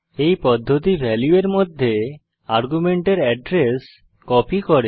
এই পদ্ধতি ভ্যালু এর মধ্যে আর্গুমেন্টের এড্রেস কপি করে